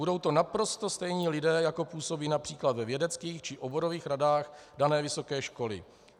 Budou to naprosto stejní lidé, jako působí například ve vědeckých či oborových radách dané vysoké školy.